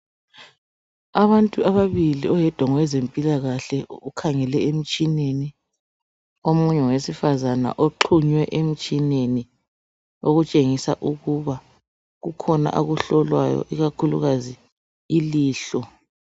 Abantu ababili, oyedwa ngowezempilakahle ukhangele emtshineni omunye ngowesifazana oxhunywe emtshineni okutshengisa ukuba kukhona akuhlolwayo ikakhulukazi ilihlo.